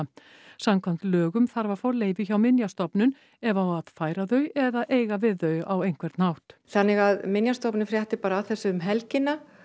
samkvæmt lögum þarf að fá leyfi hjá Minjastofnun ef á að færa þau eða eiga við á einhvern hátt þannig að Minjastofnun frétti bara af þessu um helgina